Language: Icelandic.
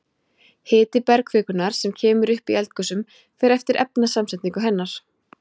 Hiti bergkvikunnar sem kemur upp í eldgosum fer eftir efnasamsetningu hennar.